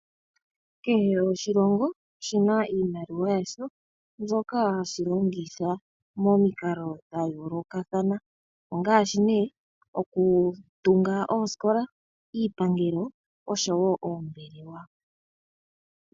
Kehe oshilongo oshina iimaliwa yasho mbyoka hashi longitha momikalo dha yoolokathana. Ongaashi nee okutunga oosikola, iipangelo oshowo oombelewa.